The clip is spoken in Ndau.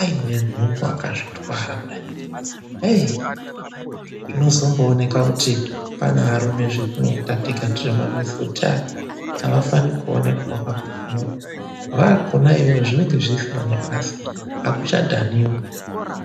aine nhumbu akazvitwara kudai, heyi, zvinozombooneka kuti pane arume zvetinoita tega tirimukamumamizi kuti avafaniri kuonekwa akakumura, vaakona iyoyo zvinenge zvisina nebasa, akuchadhaniwi.